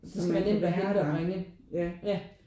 Det skal være nemt at hente og bringe ja